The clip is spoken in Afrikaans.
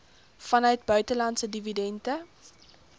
vanuit buitelandse dividende